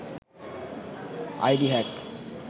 ID hack